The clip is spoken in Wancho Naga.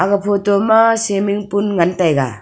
aga photo ma swimming pool ngan taiga.